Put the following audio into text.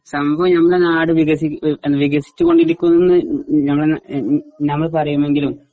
സംഭവം ഞമ്മടെ നാട് വികസി ഉം വികസിച്ചുകൊണ്ടിരിക്കുന്ന ഉം ഉം ഞമ്മള് ഉം ഞമ്മള് പറയുമെങ്കിലും